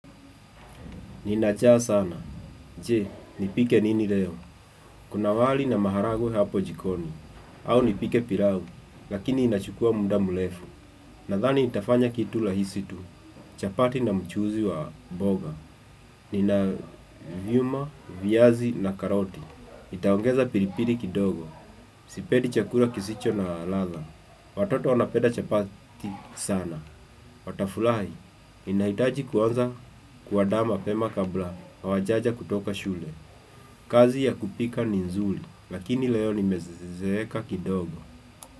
Nina njaa sana. Je, nipike nini leo. Kuna wali na maharagwe hapo jikoni. Au nipike pilau. Lakini inachukua muda mrefu. Nadhani nitafanya kitu rahisi tu. Chapati na mchuzi wa mboga. Nina vyuma, viazi na karoti. Nitaongeza pilipili kidogo. Sipendi chakula kisicho na ladha. Watoto wanapenda chapati sana. Watafurahi, ninahitaji kuanza kuandaa mapema kabla, hawajaja kutoka shule. Kazi ya kupika ni nzuri, lakini leo nimezeeka kidogo.